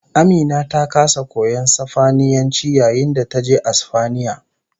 AMina ta kasa koyon Sifaniyanci yayin da taje Asfaniya